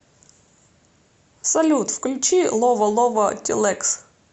салют включи лова лова тилэкс